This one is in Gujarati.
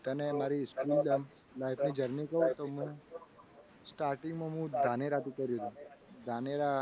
તને મારી school આમ life ની journey કહું તો હું starting માં હું ધાનેરા જતો રહ્યો હતો. ધાનેરા